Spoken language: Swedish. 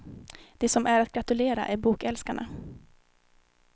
De som är att gratulera är bokälskarna.